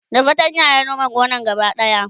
da fatanya ya Nome gonan gaba daya